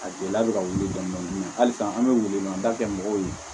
A gɛlɛya bɛ ka wuli dɔɔni dɔɔni halisa an bɛ welewelemada kɛ mɔgɔw ye